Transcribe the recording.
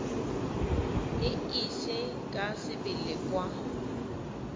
e ise ka sebele kwa